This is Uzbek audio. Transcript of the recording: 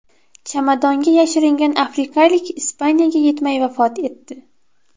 Chamadonga yashiringan afrikalik Ispaniyaga yetmay vafot etdi.